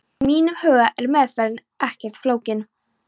Í mínum huga er meðferðin ekkert flókin.